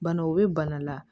Bana o bɛ bana la